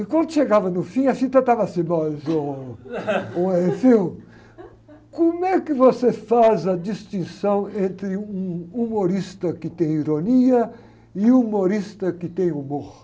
E quando chegava no fim, a fita estava assim, bom, ôh, como é que você faz a distinção entre um humorista que tem ironia e um humorista que tem humor?